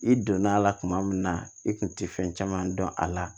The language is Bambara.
I donna a la kuma min na i kun tɛ fɛn caman dɔn a la